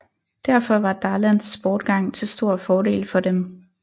Derfor var Darlans bortgang til stor fordel for dem